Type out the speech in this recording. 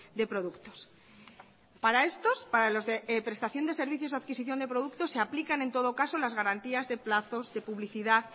de productos para estos para los de prestación de servicios o adquisición de productos se aplican en todo caso las garantías de plazos de publicidad